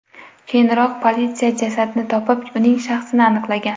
Keyinroq politsiya jasadni topib, uning shaxsini aniqlagan.